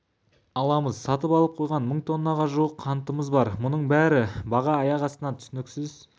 аламыз сатып алып қойған мың тоннаға жуық қантымыз бар мұның бәрі баға аяқ астынан түсініксіз